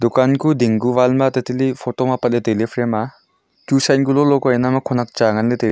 kanku ding ku wall ma tatali photo ma apat ley tailey frame aa tu sian ku lo lo khonak cha ngan ley tailey.